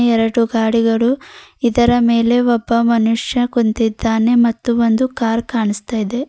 ಎರಡು ಗಾಡಿಗಳು ಇದರ ಮೇಲೆ ಒಬ್ಬ ಮನುಷ್ಯ ಕುಂತಿದ್ದಾನೆ ಮತ್ತು ಒಂದು ಕಾರ್ ಕಾಣಸ್ತಾಯಿದೆ.